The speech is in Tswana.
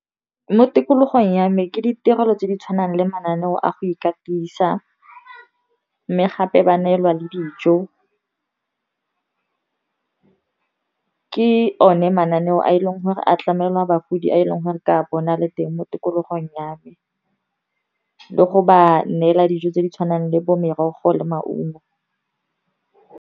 Mo tikologong ya me ke ditirelo tse di tshwanang le mananeo a go ikatisa, mme gape ba neelwa le dijo. Ke o ne mananeo a e leng gore a tlamelwa bagodi, a e leng gore ka bona le teng mo tikologong ya me, le go ba neela dijo tse di tshwanang le bo merogo le maungo.